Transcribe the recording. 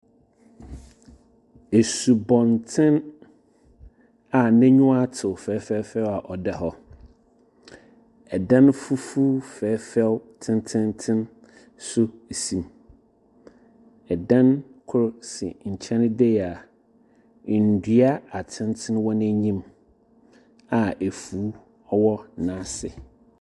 Esubɔntsen a n'enyiwa tew fɛɛfɛɛfɛw a ɔda hɔ. Dan fufuo fɛɛfɛw tsentseentsen nso si mu. Ɛdan kor si nkyɛn de yi a ndua atsentsen wɔ n'enyim a afuw ɔwɔ n'ase.